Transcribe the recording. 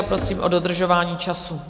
A prosím o dodržování času.